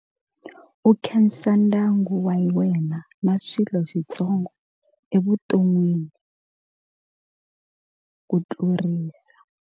U khensa ndyangu wa wena na swilo switsongo evuton'wini ku tlurisa.